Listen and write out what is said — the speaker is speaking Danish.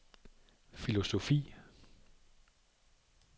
filosofi